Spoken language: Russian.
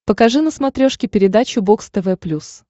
покажи на смотрешке передачу бокс тв плюс